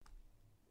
DR P4 Fælles